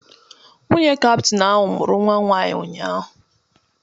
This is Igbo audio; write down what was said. Nwunye kaptain ahụ mụrụ nnwa nwaanyị ụnyaahụ.